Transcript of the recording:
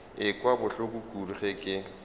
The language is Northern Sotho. ekwa bohloko kudu ge ke